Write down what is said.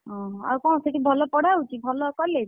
ଓହୋ ଆଉ କଣ ସେଠି ଭଲ ପଢା ହଉଛି ଭଲ college ?